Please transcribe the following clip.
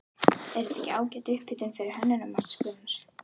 Er þetta ekki ágæt upphitun fyrir Hönnunarmars, Gunnar?